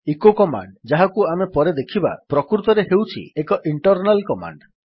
eco command ଯାହାକୁ ଆମେ ପରେ ଦେଖିବା ପ୍ରକୃତରେ ହେଉଛି ଏକ ଇଣ୍ଟର୍ନାଲ୍ କମାଣ୍ଡ୍